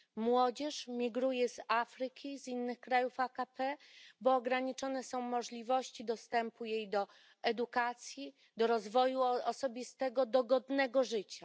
Młodzież migruje z Afryki i z innych krajów AKP, bo ograniczone są możliwości jej dostępu do edukacji, do rozwoju osobistego, do godnego życia.